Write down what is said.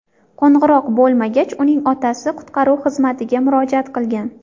Qo‘ng‘iroq bo‘lmagach, uning otasi qutqaruv xizmatiga murojaat qilgan.